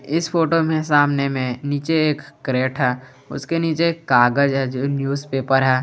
इस फोटो में सामने में नीचे एक कैरेट है उसके नीचे एक कागज है जो न्यूज पेपर है।